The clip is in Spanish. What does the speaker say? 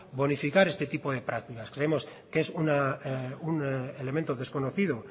bonificar este tipo de prácticas creemos que es un elemento desconocido